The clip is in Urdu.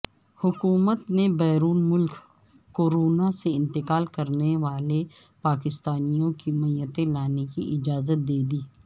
حکومت نے بیرون ملک کورونا سے انتقال کرنیوالے پاکستانیوں کی میتیں لانے کی اجازت دیدی